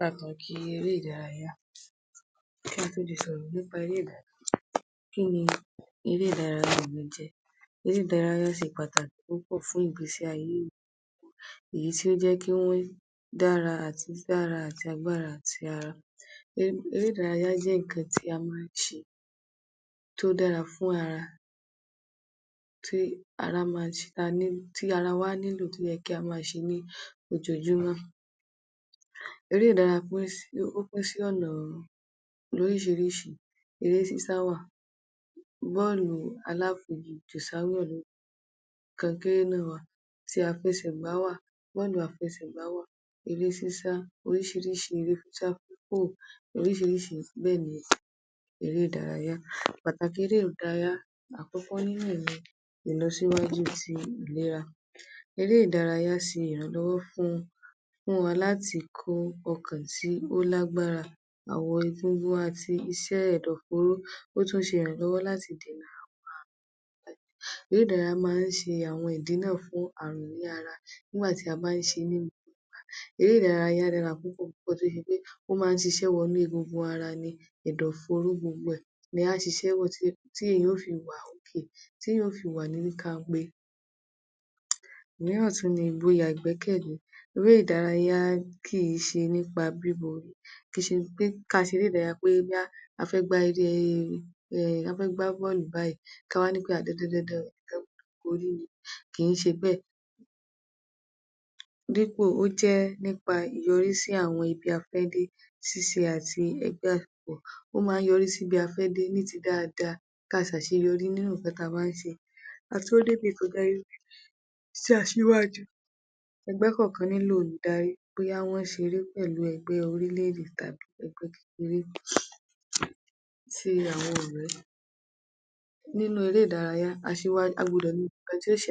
Pàtàkì eré ìdárayá. Kí a tó le sọ̀rọ̀ nípa eré ìdárayá, kín ni èré ìdárayá gan-an jẹ́? Eré ìdárayá ṣe pàtàkì púpọ̀ fún ìgbésí ayé èèyàn èyí tí ó jẹ́ kí wọ́n dára àti dídára agbára àti ara. Eré ìdárayá jẹ́ nǹkan tí a máa ń ṣe tó dára fún ara tí ara máa ń ṣe tí ara wa nílò tí ó yẹ kí a máa ṣe ní ojoojúmọ́. Eré ìdárayá ó pín sí ọ̀nà lóríṣìíríṣìí, eré sísá wá à, bọ́ọ̀lù aláfigi jù sáwọ̀n, kankéré náà wá à ti àfẹṣẹ̀gbá wá à, bọ́ọ̀lù àfẹṣẹ̀gbá wá à,eré sísá oríṣìíríṣìí eré sísá ni èré ìdárayá. Pàtàkì eré ìdárayá. Àkọ́kọ́ nínú ẹ ni ìlọsíwájú ìlera, eré ìdárayá ṣe ìrànlọ́wọ́ láti fún fún wa láti kó ọkàn tí ó lágbára àwọ̀ egungun àti iṣẹ́ e ẹ̀dọ̀ fóró ó tún ń ṣe ìrànlọ́wọ́ láti dènà àwọn àrùn, eré ìdárayá máa ń ṣe àwọn ìdínà fún ààrùn ní ara nígbà tí a bá ń ṣe é, eré ìdárayá dára púpọ̀ ó máa ń ṣiṣẹ́ wọnú egungun ara ni ẹ̀dọ̀ fóró gbogbo ẹ, ni a ṣiṣẹ́ tí èèyàn yóò fi wà okay tí èèyàn yóò fi wà ní kanpe. Òmíràn tún ni igboyà ìgbẹ́kẹ̀lé, eré ìdárayá kì í ṣe nípa kì í ṣe ká ṣe eré ìdárayá bí i wí pé a fẹ́ gbá eré e a fẹ́ gbá bọ́ọ̀lù báìí ká wá ní dandan o kì í ṣe bẹ́ẹ̀ dípò ó jẹ́ nípa ìyọrísí àwọn ibi ta fẹ́ dé ṣíṣe àti ó máa ń yọrí sí ibi ta fẹ́ dé ní ti dáadáa ka ṣe àṣeyọrí nínú nǹkan ta bá ṣe um aṣíwájú ẹgbẹ́ kọ̀ọ̀kan nílò olùdarí bóyá wọ́n ń ṣeré pẹ̀lú orílẹ̀-èdè tàbí ẹgbẹ́ kékeré ti àwọn ọ̀rẹ́, nínú eré ìdárayá a gbọdọ̀ ní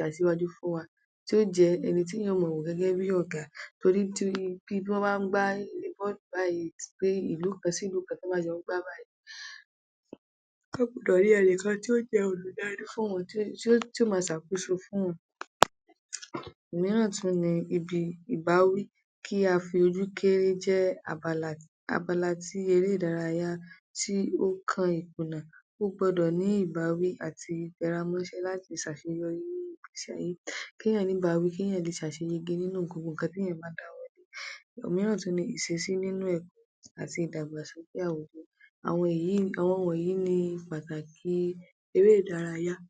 aṣíwájú fún wa tí yóò jẹ́ ẹni tí èèyàn yóò mọ wò gẹ́gẹ́ bí Ọ̀gá, torí tán bá ń gbá eré bọ́ọ̀lù báìí bóyá ìlú kan sí ìlú kan tán bá jọ ń gbá báìí, wọ́n gbọ́dọ̀ rí ẹnìkan tí yóò jẹ́ olùdarí fún wọn tí yóò mọ ṣàkóso fún wọn. Òmíràn tún ni ibi ìbáwí, kí a fojú kéré jẹ́ abala tí eré ìdárayá tí ó kan ìkùnà,ó gbọdọ̀ ní ìbáwí àti ìtẹramọ́ṣẹ́ láti ṣàṣeyọrí nínú yìí, kí èèyàn ní ìbáwí kéèyàn lè ṣàṣeyege nínú nǹkan téèyàn bá dáwọ́lé. Òmíràn tún ni ìṣesí nínú ẹ̀kọ́ àti ìdàgbàsókè àwùjọ, àwọn wọ̀nyí ni pàtàkì eré ìdárayá.